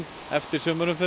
eftir